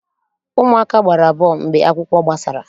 Ụmụaka gbara bọọlụ mgbe akwụkwọ gbasara.